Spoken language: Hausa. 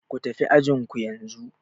Ku tafi ajin ku yanzu!